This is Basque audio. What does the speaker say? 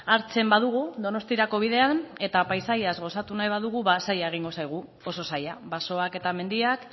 hartzen badugu donostiarako bidean eta paisaia gozatu nahi badugu ba zaila egingo zaigu oso zaila basoak eta mendiak